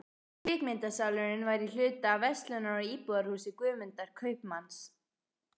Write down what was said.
Kvikmyndasalurinn var í hluta af verslunar- og íbúðarhúsi Guðmundar kaupmanns.